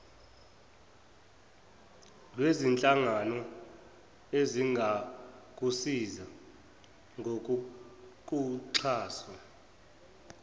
lwezinhlangano ezingakusiza ngokukuxhasa